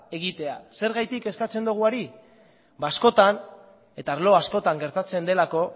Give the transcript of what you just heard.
egitea zergatik eskatzen diogu hori askotan eta arlo askotan gertatzen delako